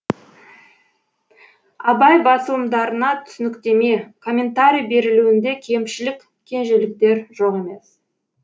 абай басылымдарына түсініктеме комментарий берілуінде кемшілік кенжеліктер жоқ емес